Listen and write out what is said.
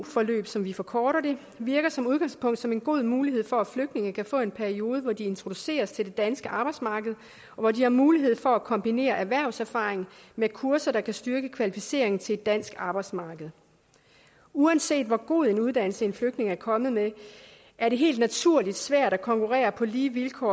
forløb som vi forkorter det virker som udgangspunkt som en god mulighed for at flygtninge kan få en periode hvor de introduceres til det danske arbejdsmarked og hvor de har mulighed for at kombinere erhvervserfaring med kurser der kan styrke kvalificeringen til det danske arbejdsmarked uanset hvor god en uddannelse en flygtning er kommet med er det helt naturligt svært at konkurrere på lige vilkår